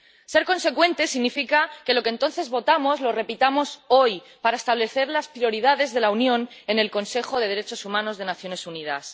Ser consecuentes significa que lo que entonces votamos lo repitamos hoy, para establecer las prioridades de la Unión en el Consejo de Derechos Humanos de las Naciones Unidas.